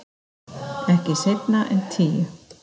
Ekki seinna en tíu.